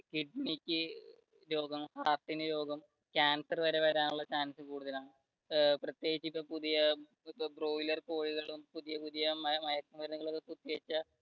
കിഡ്നിക്ക് രോഗം, heart ന് രോഗം കാൻസർ വരെ വരാനുള്ള chance കൂടുതലാണ് പ്രതിയേകിച്ചും പുതിയ broiler കോഴികളും പുതിയ പുതിയ മയക്കു മരുന്നുകളും കുത്തി വെച്ച